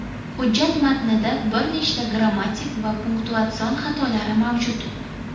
Hujjat matnida bir nechta grammatik va punktuatsion xatolari mavjud.